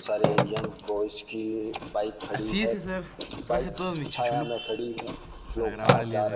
सारे young boys की bike खड़ी है बाइक्स छाया में खड़ी है लोग आ जा रहे --